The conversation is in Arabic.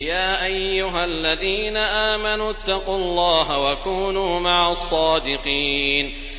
يَا أَيُّهَا الَّذِينَ آمَنُوا اتَّقُوا اللَّهَ وَكُونُوا مَعَ الصَّادِقِينَ